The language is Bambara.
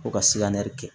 Ko ka sigarɛti